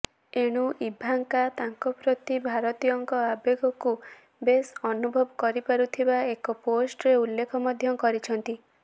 ଏଣୁ ଇଭାଙ୍କା ତାଙ୍କପ୍ରତି ଭାରତୀୟଙ୍କ ଆବେଗକୁ ବେଶ ଅନୁଭବ କରିପାରୁଥିବା ଏକ ପୋଷ୍ଟରେ ଉଲ୍ଲେଖ ମଧ୍ୟ କରିଛନ୍ତି